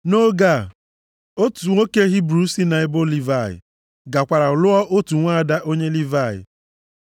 Nʼoge a, otu nwoke onye Hibru si nʼebo Livayị, gakwara lụọ otu nwaada onye Livayị.